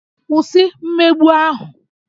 Kwụsị mmegbu ahụ!